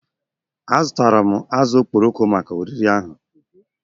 Azụtara m azụ̀ okporoko maka oriri ahụ